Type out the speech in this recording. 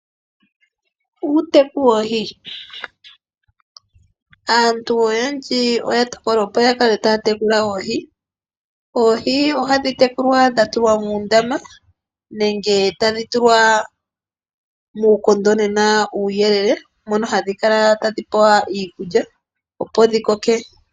Uuteku woohi, aantu oyendji oyatokola opo yakale taya tekula oohi. Oohi ohadhi tekulwa dhatulwa muundama nenge tadhi tulwa muukondonena uuyelele mono hadhi kala tadhi pewa iikulya opo dhikoke.